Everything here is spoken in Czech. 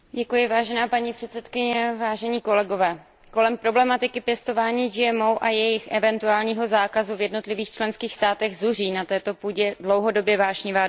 Paní předsedající, kolem problematiky pěstování GMO a jejich eventuálního zákazu v jednotlivých členských státech zuří na této půdě dlouhodobě vášnivá debata.